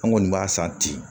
An kɔni b'a san ten